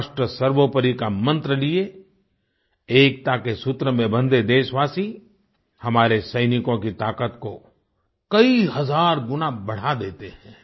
राष्ट्र सर्वोपरी का मंत्र लिए एकता के सूत्र में बंधे देशवासी हमारे सैनिकों की ताक़त को कई हज़ार गुणा बढ़ा देते हैं